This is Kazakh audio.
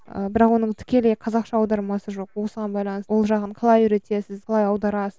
ыыы бірақ оның тікелей қазақша аудармасы жоқ осыған байланысты ол жағын қалай үйретесіз қалай аударасыз